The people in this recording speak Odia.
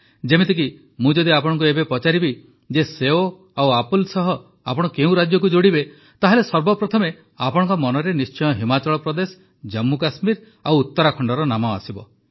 ଯେପରିକି ମୁଁ ଯଦି ଆପଣଙ୍କୁ ଏବେ ପଚାରିବି ଯେ ସେଓ ଓ ଆପଲ୍ ସହ ଆପଣ କେଉଁ ରାଜ୍ୟକୁ ଯୋଡ଼ିବେ ତାହାଲେ ସର୍ବପ୍ରଥମେ ଆପଣଙ୍କ ମନରେ ନିଶ୍ଚିତ ଭାବେ ହିମାଚଳ ପ୍ରଦେଶ ଜମ୍ମୁକଶ୍ମୀର ଓ ଉତ୍ତରାଖଣ୍ଡର ନାମ ଆସିବ